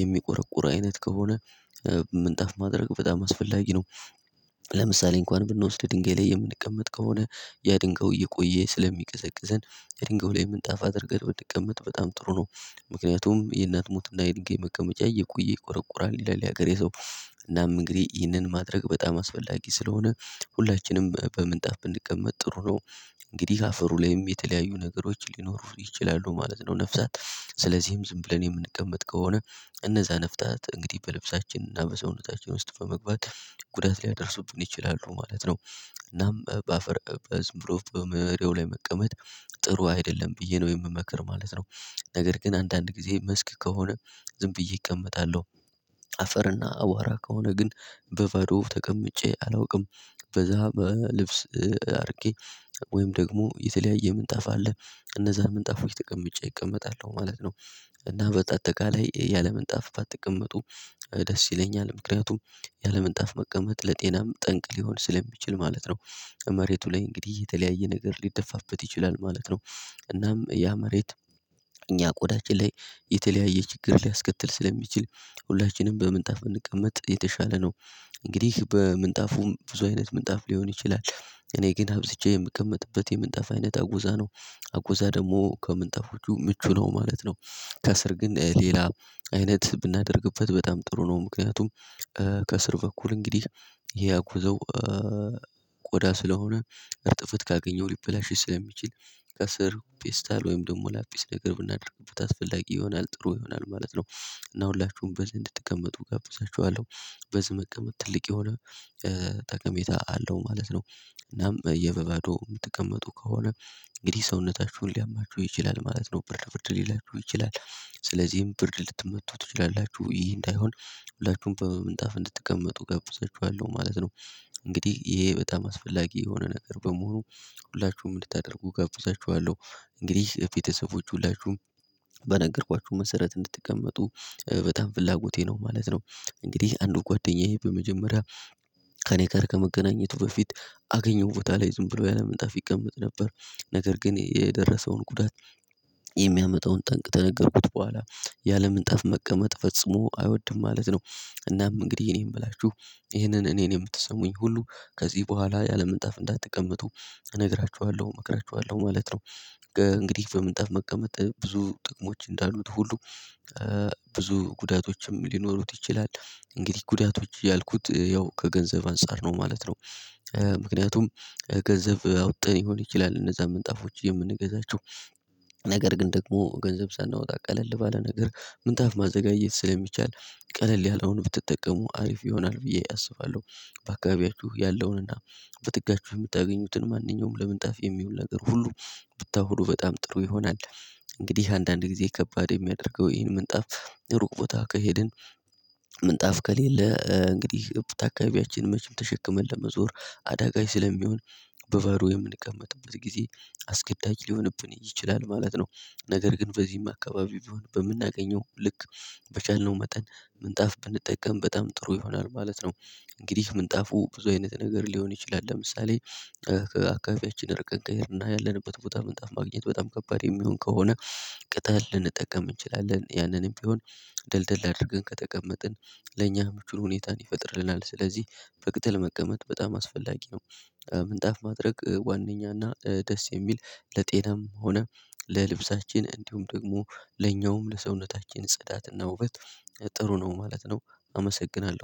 የሚቆረቁር አይነት ከሆነ ምንጣፍ ማድረግ በጣም አስፈላጊ ነው። ለምሳሌ እንኳን ብንወስድ ድንጋይ ላይ የምንቀመጥ ከሆነ ያ ድንጋዩ እየቆየ ስለሚቀዘቅዘን የድንጋዩ ላይ ምንጣፍ አድርገን ብትቀመጥ በጣም ጥሩ ነው ምክንያቱም የእናት ሞትና የድንጋይ መቀመጫ እየቆየ ይቆረቁራል ይላል የሀገሬ ሰው። እናም እንግዲህ ይህንን ማድረግ በጣም አስፈላጊ ስለሆነ ሁላችንም በምንጣፍ ብንቀመጥ ጥሩ ነው። እንግዲህ አፈሩ ላይም የተለያዩ ነገሮች ሊኖሩ ይችላሉ ማለት ነው ነፍሳት፤ ስለዚህም ዝም ብለን የምንቀመጥ ከሆነ እነዛ ነፍሳት እንግዲህ በልብሳችን እና በሰውነታችን ውስጥ በመግባት ጉዳት ሊያደርሱብን ይችላሉ ማለት ነው። እናም በአፈር ዝም ብሎ በመሬቱ ላይ መቀመጥ ጥሩ አይደለም ብዬ ነው የምመክር ማለት ነው። ነገር ግን አንዳንድ ጊዜ መስክ ከሆነ ዝም ብዬ እቀመጣለሁ። አፈርና አዋራ ከሆነ ግን በባዶ ተቀምጬ አላውቅም። በዛ በልብስ አርቄ ወይም ደግሞ የተለያየ ምንጣፍ አለ እነዛ ምንጣፎች ተቀምጬ እቀመጣለሁ ማለት ነው። እና በአጠቃላይ ያለምንጣፍ ባትቀመጡ ደስ ይለኛል ምክንያቱም ያለምንጣፍ መቀመጥ ለጤናም ጠንቅ ሊሆን ስለሚችል ማለት ነው። ከመሬቱ ላይ እንግዲህ የተለያየ ነገር ሊደፋበት ይችላል ማለት ነው። እናም ያ መሬት እኛ ቆዳችን ላይ የተለያየ ችግር ሊያስከትል ስለሚችል ሁላችንም በምንጣፍ ብንቀመጥ የተሻለ ነው። እንግዲህ በምንጣፉም ብዙ አይነት ምንጣፍ ሊሆን ይችላል እኔ ግን አብዝቼ የምቀመጥበት የምንጣፍ አይነት አጉዛ ነው። አጉዛ ደግሞ ከምንጣፎቹ ምቹ ነው ማለት ነው። ከስር ግን ሌላ አይነት ብናደርግበት በጣም ጥሩ ነው ምክንያቱም። ከስር በኩል እንግዲህ ያ አጉዛው ቆዳ ስለሆነ እርጥበት ካገኘው ሊበላሽ ስለሚችል ከስር ፒስታል ወይም ደግሞ ላፒስ ነገር ብናደርግበት አስፈላጊ ይሆናል ጥሩ ይሆናል ማለት ነው። እና ሁላችሁም በዚህ እንድትቀመጡ እጋብዛችኋለሁ በዚህ መቀመጥ ትልቅ የሆነ ጠቀሜታ አለው ማለት ነው። እናም የበበዶ የምትቀመጡ ከሆነ እንግዲህ ሰውነታችሁን ሊያማችሁ ይችላል ማለት ነው ብርድ ብርድ ሊላችሁ ይችላል ስለዚህም ብርድ ልትመቱ ትችላላችሁ ይሄ እንዳይሆን ሁላችሁም በምንጣፍ እንድትቀመጡ እጋብዛችኋለሁ ማለት ነው። እንግዲህ ይሄ በጣም አስፈላጊ የሆነ ነገር በመሆኑ ሁላችሁም እንድታደርጉ ጋብዛችኋለሁ እንግዲህ ፊት ሰዎች ሁላችሁም በነገርኳችሁ መሰረት እንድትቀመጡ በጣም ፍላጎቴ ነው ማለት ነው። እንግዲህ አንዱ ጓደኛዬ በመጀመሪያ ከእኔ ጋር ከመገናኘቱ በፊት አገኘው ቦታ ላይ ዝም ብሎ ያለ ምንጣፍ ይቀመጥ ነበር። ነገር ግን የደረሰውን ጉዳት የሚያመጣውን ጠንቅ ተነገርኩት በኋላ ያለ ምንጣፍ መቀመጥ ፈጽሞ አይወድም ማለት ነው። እናም እንግዲህ እኔ የምላችሁ ይሄንን እኔን የምትሰሙኝ ሁሉ ከዚህ በኋላ ያለ ምንጣፍ እንዳትቀምጡ እነግራችኋለሁ እመክራችኋለሁ ማለት ነው። እንግዲህ በምንጣፍ መቀመጥ ብዙ ጥቅሞች እንዳሉት ሁሉ ብዙ ጉዳቶችም ሊኖሩት ይችላል። እንግዲህ ጉዳቶች ያልኩት ያው ከገንዘብ አንፃር ነው ማለት ነው። ምክንያቱም ገንዘብ አውጥተን ሊሆን ይችላል እነዛ ምንጣፎች የምንገዛቸው ነገር ግን ደግሞ ገንዘብ ሳናወጣ ቀለል ባለ ነገር ምንጣፍ ማዘጋጀት ስለሚቻል ቀለል ያለውን ብትጠቀሙ አሪፍ ይሆናል ብዬ አስባለሁ። በአካባቢያችሁ ያለውንና በጥጋችሁ የምታገኙትን ማንኛውም ለምንጣፍ የሚሆን ነገር ሁሉ ብታውሉ በጣም ጥሩ ይሆናል። እንግዲህ አንዳንድ ጊዜ ከባድ የሚያደርገው ይህን ምንጣፍ ሩቅ ቦታ ከሄድን ምንጣፍ ከሌለ እንግዲህ እብድ አካባቢያችንን መቼም ተሸክመን ለመዞር አዳጋይች ስለሚሆን በበሩ የምንቀመጥበት ጊዜ አስገዳጅ ሊሆንብን ይችላል ማለት ነው። ነገር ግን በዚህም አካባቢ ቢሆን በምናገኘው ልክ በቻልነው መጠን ምንጣፍ ብንጠቀም በጣም ጥሩ ይሆናል ማለት ነው። እንግዲህ ምንጣፉ ብዙ አይነት ነገር ሊሆን ይችላል ለምሳሌ አካባቢያችንን እረቀን ከሄድን እና ያለንበት ቦታ ምንጣፍ ማግኘት በጣም ከባድ የሚሆን ከሆነ ቅጠል ልንጠቀም እንችላለን ያንንም ቢሆን ደልደል አድርገን ከተቀመጥን ለእኛ ምቹ ሁኔታን ይፈጥርልናል ስለዚህ በቅጠል መቀመጥ በጣም አስፈላጊ ነው። ምንጣፍ ማድረግ ዋነኛና ደስ የሚል ለጤናም ሆነ ለልብሳችን እንዲሁም ደግሞ ለኛውም ለሰውነታችን ጽዳትና ውበት ጥሩ ነው ማለት ነው። አመሰግናለሁ።